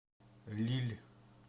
лилль